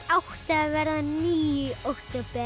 að verða níu í október